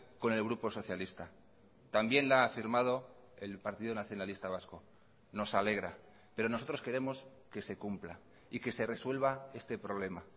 con el grupo socialista también la ha firmado el partido nacionalista vasco nos alegra pero nosotros queremos que se cumpla y que se resuelva este problema